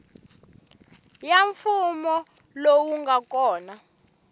ya mfumo lowu nga kona